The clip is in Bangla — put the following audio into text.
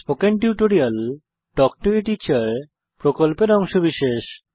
spoken tutorial talk to a teacher প্রকল্পের অংশবিশেষ